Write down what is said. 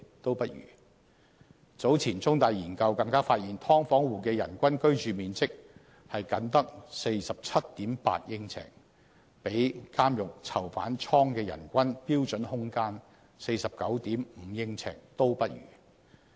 早前，香港中文大學有研究更發現，"劏房戶"的人均居住面積僅得 47.8 呎，比監獄囚犯倉的人均標準空間 49.5 呎都不如。